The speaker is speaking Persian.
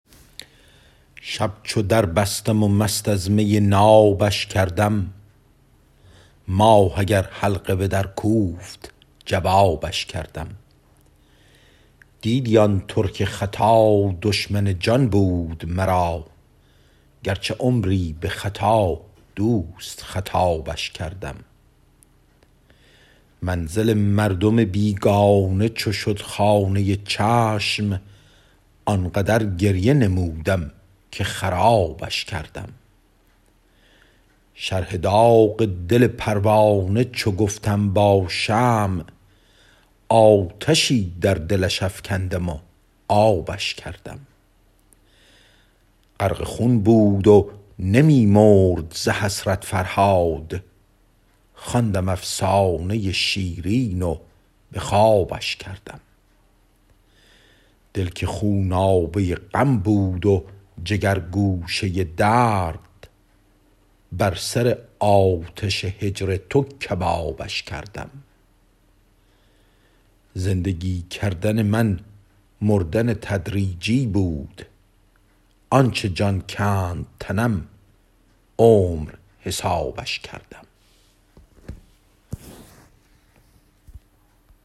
شب چو در بستم و مست از می نابش کردم ماه اگر حلقه به در کوفت جوابش کردم دیدی آن ترک ختا دشمن جان بود مرا گرچه عمری به خطا دوست خطابش کردم منزل مردم بیگانه چو شد خانه چشم آنقدر گریه نمودم که خرابش کردم شرح داغ دل پروانه چو گفتم با شمع آتشی در دلش افکندم و آبش کردم غرق خون بود و نمی مرد ز حسرت فرهاد خواندم افسانه شیرین و به خوابش کردم دل که خونابه غم بود و جگرگوشه درد بر سر آتش جور تو کبابش کردم زندگی کردن من مردن تدریجی بود آنچه جان کند تنم عمر حسابش کردم